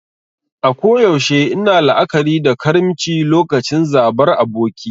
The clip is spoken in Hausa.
A koyaushe ina la'akari da karimci lokacin zabar aboki.